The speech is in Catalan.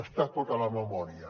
està tot a la memòria